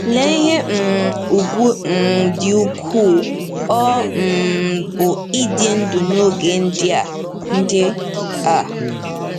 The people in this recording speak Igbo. Lee ihe um ùgwù um dị ukwuu ọ um bụ ịdị ndụ n'oge ndị a! ndị a!